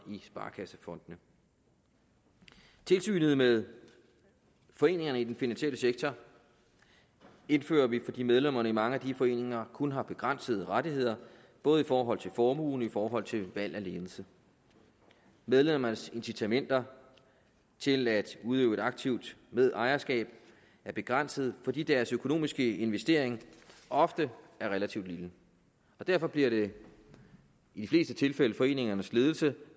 i sparekassefondene tilsynet med foreningerne i den finansielle sektor indfører vi fordi medlemmerne i mange af de foreninger kun har begrænsede rettigheder både i forhold til formue og i forhold til valg af ledelse medlemmernes incitamenter til at udøve et aktivt medejerskab er begrænsede fordi deres økonomiske investering ofte er relativt lille derfor bliver det i de fleste tilfælde foreningernes ledelse